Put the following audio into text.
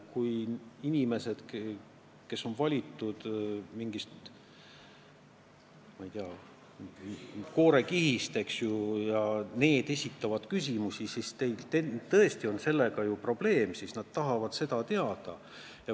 Kui inimesed, kes on valitud n-ö koorekihist, esitavad küsimusi, siis on ju tõesti probleeme, nad tahavad seda kõike teada.